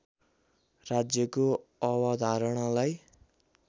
राज्यको अवधारणालाई